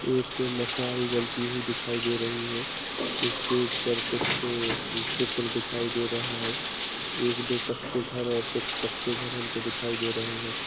एक मशाल जलती हुई दिखाई दे रही है स्टेज पर कुछ चित्र दिखाई दे रहा है एक दो कच्चे घर और कुछ पक्के घर हमको दिखाई दे रहे है।